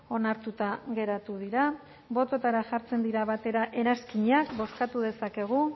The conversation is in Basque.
onartuta geratu dira bototara jartzen dira batera eranskinak bozkatu dezakegu